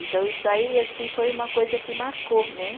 Então, isso aí, assim, foi uma coisa que marcou, né?